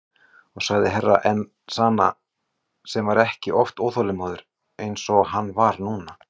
Og sagði Herra Enzana sem var ekki oft óþolinmóður eins og hann var núna.